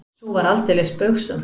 Sú var aldeilis spaugsöm!